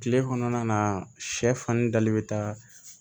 Kile kɔnɔna na sɛfan ni dali bɛ taa